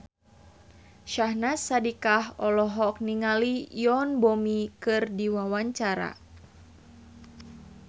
Syahnaz Sadiqah olohok ningali Yoon Bomi keur diwawancara